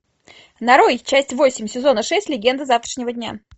нарой часть восемь сезона шесть легенды завтрашнего дня